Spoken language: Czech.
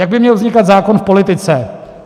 Jak by měl vznikat zákon v politice?